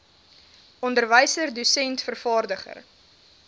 onderwyser dosent vervaardiger